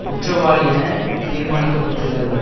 குற்றவாளியென தீர்மானிக்கப்பட்டுள்ளார்கள்